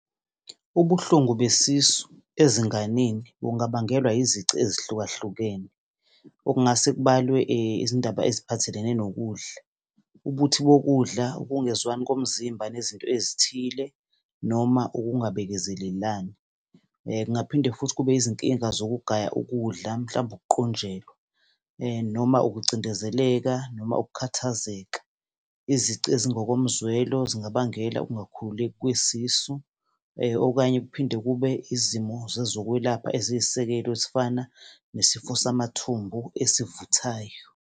Ubuhlungu besisu ezinganeni kungabangelwa izici ezihlukahlukene, okungase kubalwe izindaba eziphathelene nokudla, ubuthi bokudla, ukungezwani komzimba nezinto ezithile noma ukungabekezelelani. Kungaphinde futhi kube izinkinga zokugaya ukudla, mhlawumbe ukuqunjelwa noma ukucindezeleka, noma ukukhathazeka. Izici ezingokomzwelo zingabangela ukungakhululeki kwesisu okanye kuphinde kube izimo zezokwelapha eziyisisekelo ezifana nesifo samathumbu esivuthayo.